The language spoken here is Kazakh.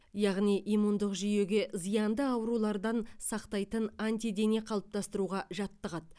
яғни иммундық жүйеге зиянды аурулардан сақтайтын антидене қалыптастыруға жаттығады